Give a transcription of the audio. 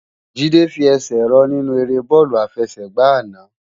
Jide fi èsè rò ninú èrè bòlú àfèsègbá àná